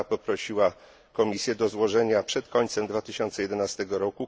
Rada poprosiła Komisję do złożenia przed końcem 2011 r.